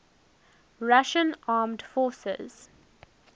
russian armed forces